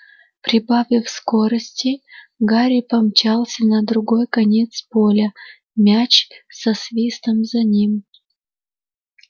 прибавив скорости гарри помчался на другой конец поля мяч со свистом за ним